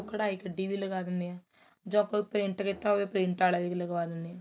ਉਹ ਕੱਡਾਈ ਕੱਡੀ ਵੀ ਲੱਗਾ ਦਿੰਦੇ ਆ ਜੋ ਆਪਾਂ print ਕੀਤਾ ਹੋਵੇ print ਵਾਲੇ ਵੀ ਲਗਵਾ ਦਿੰਦੇ ਆ